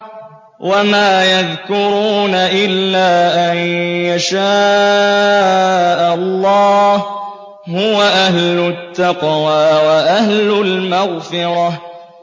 وَمَا يَذْكُرُونَ إِلَّا أَن يَشَاءَ اللَّهُ ۚ هُوَ أَهْلُ التَّقْوَىٰ وَأَهْلُ الْمَغْفِرَةِ